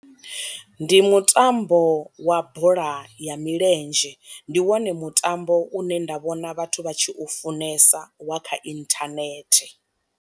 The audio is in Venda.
Ndi mutambo wa bola ya milenzhe ndi wone mutambo u ne nda vhona vhathu vha tshi u funesa wa kha inthanethe.